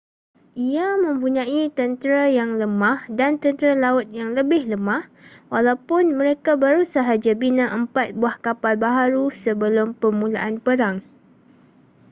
ia mempunyai tentera yang lemah dan tentera laut yang lebih lemah walaupun mereka baru sahaja bina empat buah kapal baharu sebelum permulaan perang